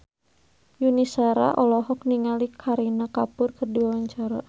Yuni Shara olohok ningali Kareena Kapoor keur diwawancara